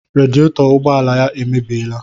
Radietọ ụgbọala ya emebiela